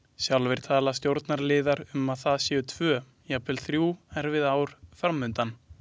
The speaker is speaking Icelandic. Sjálfir tala stjórnarliðar um að það séu tvö, jafnvel þrjú, erfið ár fram undan.